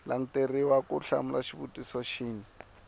languteriwa ku hlamula xivutiso xin